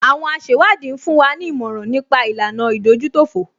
Àwọn asẹ̀wádìí ń fún wa ní ìmọ̀ràn nípa ìlànà ìdójútòfò